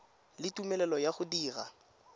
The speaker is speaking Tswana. le tumelelo ya go dira